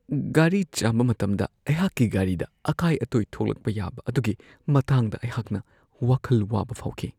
ꯒꯥꯔꯤ ꯆꯥꯝꯕ ꯃꯇꯝꯗ ꯑꯩꯍꯥꯛꯀꯤ ꯒꯥꯔꯤꯗ ꯑꯀꯥꯏ-ꯑꯇꯣꯏ ꯊꯣꯛꯂꯛꯄ ꯌꯥꯕ ꯑꯗꯨꯒꯤ ꯃꯇꯥꯡꯗ ꯑꯩꯍꯥꯛꯅ ꯋꯥꯈꯜ ꯋꯥꯕ ꯐꯥꯎꯈꯤ ꯫